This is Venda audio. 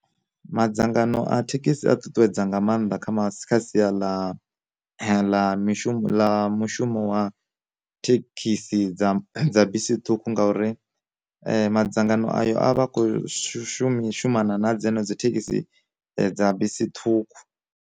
Ma dzangano a thekhisi a ṱuṱuwedza nga maanḓa kha masi kha sia ḽa ḽa mishumo ḽa mushumo wa thekhisi dza dza bisi ṱhukhu ngauri madzangano ayo a vha a khou shumisa shumana na dzenedzo thekhisi dza bisi ṱhukhu.